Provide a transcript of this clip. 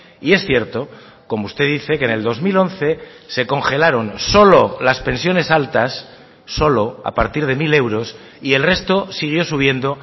y es cierto como usted dice que en el dos mil once se congelaron solo las pensiones altas solo a partir de mil euros y el resto siguió subiendo